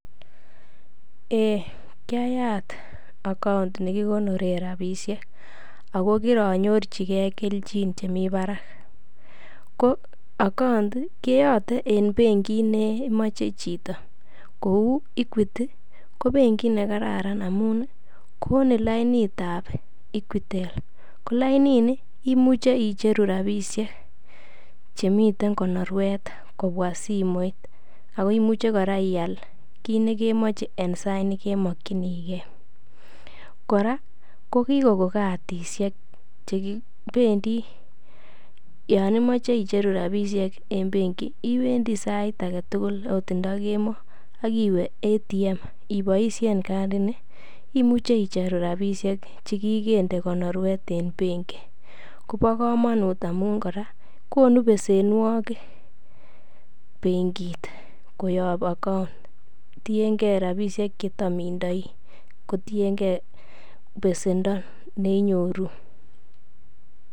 Ee kiayat account nekikonore rabishek ako kiranyorchigei keljin chemi barak ko account keote eng' benkit nemoche chito kou equity ko benkit nekararan amun konin lainitab equitel ko laini imuche icheru rabishek chemiten konorwet kobwa simoit ako imuche kora ial kit nekemoche eng' sait nekemokchenigei kora kokikon kadishek chekibendi yo imoche icheru rabishek eng' benki iwendi sait age tugul oot nda kemoi akiwe ATM iboishen kadini imuche icheru rabishek chekikende konorwet en benki kobo komonut amun kora konu besenwokik benkit koyop accout tiengei rabishek chetam indoi kotiengei besendo neinyoru